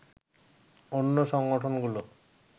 অন্য সংগঠনগুলো